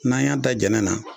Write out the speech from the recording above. N'a y'a da jɛnɛ na.